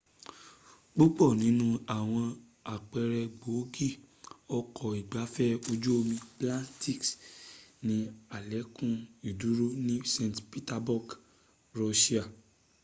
púpọ̀ nínú àwọn àpẹrẹ gbòógi ọkọ̀ ìgbafẹ ojú omi baltic ni àlékún ìdúró ní st petersburg russia